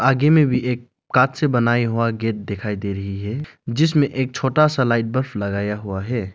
आगे में भी एक काठ से बनाई हुआ गेट दिखाई दे रही है जिसमें एक छोटा सा लाइट बल्ब लगाया हुआ है।